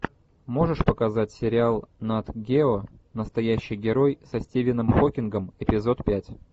можешь показать сериал нат гео настоящий герой со стивеном хокингом эпизод пять